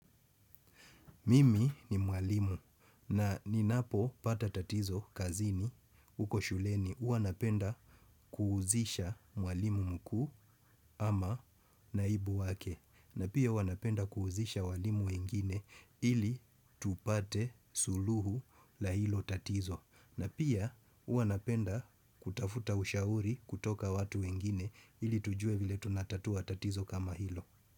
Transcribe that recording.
Mimi ni mwalimu na ninapopata tatizo kazini huko shuleni. Huwa napenda kuuzisha mwalimu mkuu ama naibu wake. Na pia huwa napenda kuuzisha walimu wengine ili tupate suluhu la hilo tatizo. Na pia uwanapenda kutafuta ushauri kutoka watu wengine ili tujue vile tunatatua tatizo kama hilo.